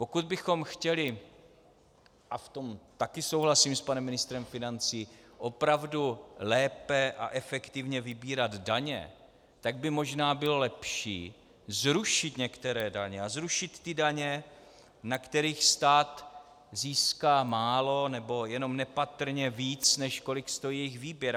Pokud bychom chtěli, a v tom také souhlasím s panem ministrem financí, opravdu lépe a efektivně vybírat daně, tak by možná bylo lepší zrušit některé daně a zrušit ty daně, na kterých stát získá málo nebo jenom nepatrně víc, než kolik stojí jejich výběr.